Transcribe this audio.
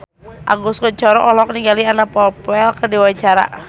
Agus Kuncoro olohok ningali Anna Popplewell keur diwawancara